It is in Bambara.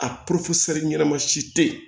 A ɲɛnama si tɛ yen